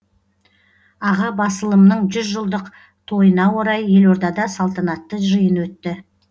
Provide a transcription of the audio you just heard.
аға басылымның жүз жылдық тойына орай елордада салтанатты жиын өтті